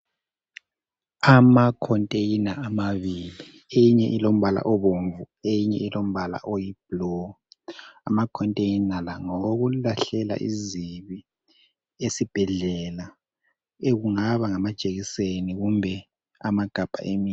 Ama"container" amabili, eyinye ilombala obomvu eyinye ilombala oyi"blue".Ama"container" la ngawokulahlela izibi esibhedlela ekungaba ngamajekiseni kumbe amagabha emithi.